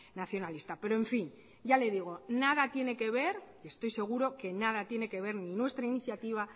nacionalista pero en fin ya le digo nada tiene que ver y estoy seguro que nada tiene que ver ni nuestra iniciativa